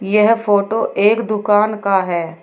यह फोटो एक दुकान का है।